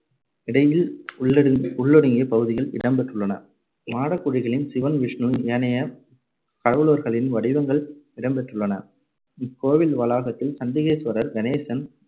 இடையில் உள்ளடு~ உள்ளொடுங்கிய பகுதிகள் இடம் பெற்றுள்ளன. மாடக்குழிகளில் சிவன், விஷ்ணு, ஏனைய, கடவுளர்களின் வடிவங்கள் இடம்பெற்றுள்ளன. இக்கோவில் வளாகத்தில் சண்டிகேஸ்வரர், கணேசன்,